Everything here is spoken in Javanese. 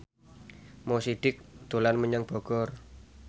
Mo Sidik dolan menyang Bogor